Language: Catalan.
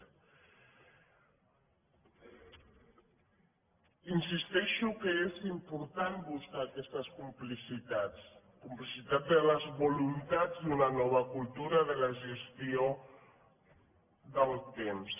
insisteixo que és important buscar aquestes complicitats complicitats de les voluntats d’una nova cultura de la gestió del temps